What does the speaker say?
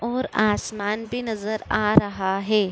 और आसमान भी नजर आ रहा है।